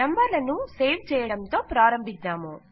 నంబర్లను సేవ్ చేయడంతో ప్రారంభిద్దాము